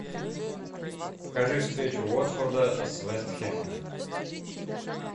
покажи встречу уотфорда с вест хэмом